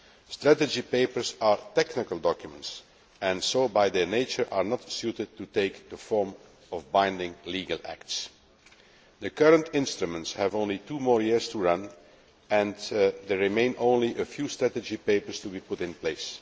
Strategy papers are technical documents, and so by their nature are not suited to take the form of binding legal acts. The current instruments have only two more years to run and there remain only a few strategy papers to be put in place.